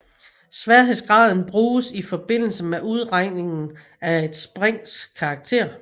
Sværhedsgraden bruges i forbindelse med udregningen af et springs karakter